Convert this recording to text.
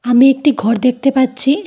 আমি একটি ঘর দেখতে পাচ্ছি।